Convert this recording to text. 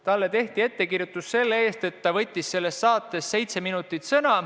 Talle tehti ettekirjutus selle eest, et ta võttis selles saates seitse minutit sõna.